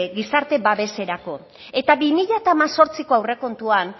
gizarte babeserako eta bi mila hemezortziko aurrekontuan